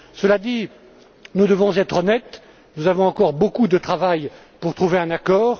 Cela dit, nous devons être honnêtes, nous avons encore beaucoup de travail à faire pour trouver un accord.